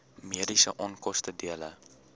mediese onkoste dele